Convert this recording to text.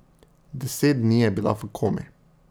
Deset dni je bila v komi.